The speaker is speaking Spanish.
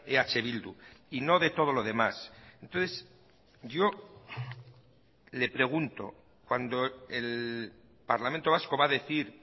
eh bildu y no de todo lo demás entonces yo le pregunto cuando el parlamento vasco va a decir